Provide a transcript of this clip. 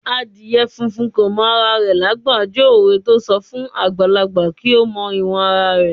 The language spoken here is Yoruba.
"Adìyẹ funfun kò mọ ara rẹ lágbà" jẹ́ òwe to ń sọ fún àgbàlagbà kí ó mọ ìwọ̀n ara rẹ̀.